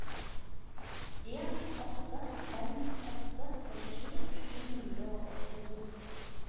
en åtte fem åtte førtisju sju hundre og åttito